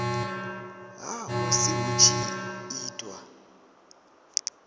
ha musi hu tshi itwa